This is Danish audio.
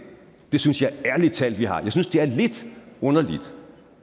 det synes jeg ærlig talt at vi har jeg synes det er lidt underligt